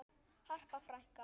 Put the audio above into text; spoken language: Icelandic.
Harpa frænka.